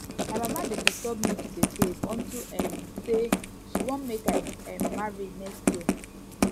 my mama dey disturb me to dey save unto um say she wan make i um marry next year